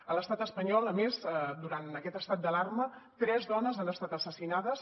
a l’estat espanyol a més durant aquest estat d’alarma tres dones han estat assassinades